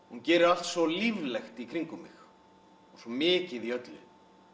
hún gerir allt svo líflegt í kringum mig og svo mikið í öllu